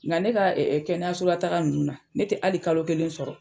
Nga ne ka ɛ ɛ kɛnɛyasola taga nunnu na ne te ali kalo kelen sɔrɔ